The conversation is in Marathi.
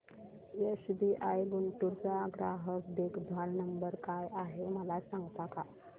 एसबीआय गुंटूर चा ग्राहक देखभाल नंबर काय आहे मला सांगता का